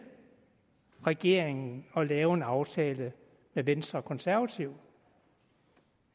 regeringen at lave en aftale med venstre og konservative